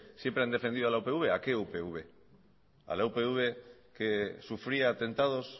siempre han defendido a la upv a qué upv a la upv que sufría atentados